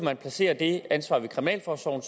at placere det ansvar ved kriminalforsorgen